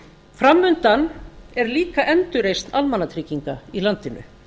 framundan er líka endurreisn almannatrygginga í landinu